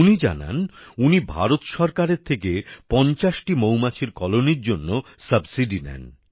উনি জানান উনি ভারত সরকার থেকে পঞ্চাশটি মৌমাছির কলোনির জন্য সাবসিডি নেন